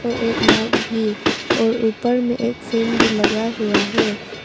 एक माइक भी और ऊपर में एक फ्रेम भी लगा हुआ है।